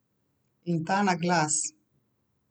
In ta naglas!